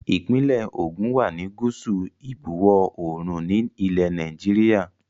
Ìpínlẹ̀ Ògùn wá ní gúúsù ìbuwọ̀ oòrùn ni ilẹ̀ Nàìjíríà